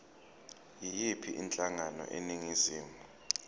yiyiphi inhlangano eningizimu